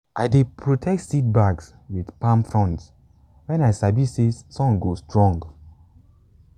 i dey protect seedbeds with palm fronds when i sabi say sun go strong.